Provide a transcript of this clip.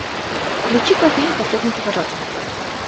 включи ка фильм последний поворот